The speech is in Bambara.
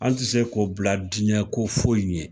An ti se k'o bila dinɛ ko foyi ɲɛ